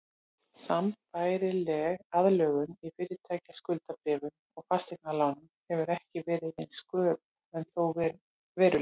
Sambærileg aðlögun í fyrirtækjaskuldabréfum og fasteignalánum hefur ekki verið eins skörp en þó veruleg.